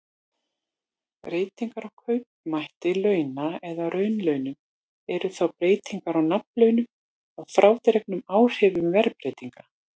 Breytingar á kaupmætti launa eða raunlaunum eru þá breytingar á nafnlaunum að frádregnum áhrifum verðlagsbreytinga.